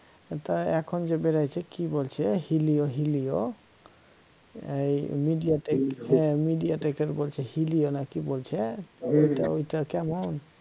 তা এখন যে বেরিয়েছে কি বলছে helio helio এই media tech হ্যা media tech এর বলছে helio না কি বলছে তা ঐটা কেমন